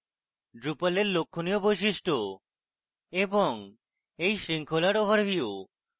drupal এর লক্ষণীয় বৈশিষ্ট্য এবং এই শৃঙ্খলার ওভারভিউ